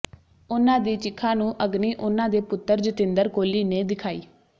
ਉਨ੍ਹਾਂ ਦੀ ਚਿਖਾ ਨੂੰ ਅਗਨੀ ਉਨ੍ਹਾਂ ਦੇ ਪੁੱਤਰ ਜਤਿੰਦਰ ਕੋਹਲੀ ਨੇ ਦਿਖਾਈ